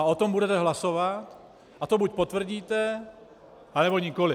A o tom budete hlasovat a to buď potvrdíte, anebo nikoliv.